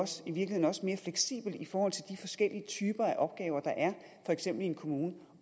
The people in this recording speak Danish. i virkeligheden også mere fleksibelt i forhold til de forskellige typer af opgaver der er for eksempel i en kommune